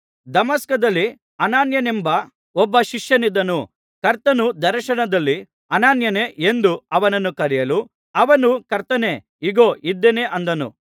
ದಮಸ್ಕದಲ್ಲಿ ಅನನೀಯನೆಂಬ ಒಬ್ಬ ಶಿಷ್ಯನಿದ್ದನು ಕರ್ತನು ದರ್ಶನದಲ್ಲಿ ಅನನೀಯನೇ ಎಂದು ಅವನನ್ನು ಕರೆಯಲು ಅವನು ಕರ್ತನೇ ಇಗೋ ಇದ್ದೇನೆ ಅಂದನು